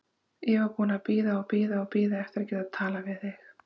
Ég var búin að bíða og bíða og bíða eftir að geta talað við þig.